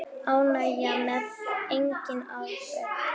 Óánægja með eigin afrek.